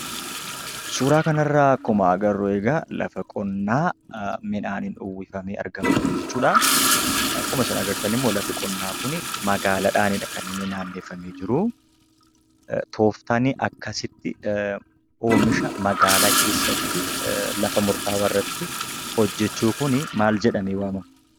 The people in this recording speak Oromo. Suuraa kana irraa akkuma agarru egaa lafa qonnaa midhaaniin uwwifamee argamuu dha jechuudha. Akkuma isin argitan immoo lafti qonnaa kuni magaalaadhaani dha kan inni naanneffamee jiru. Tooftaan akkasitti oomisha magaalaa keessatti lafa murtaawaa irratti hojjechuu kun maal jedhamee waamama?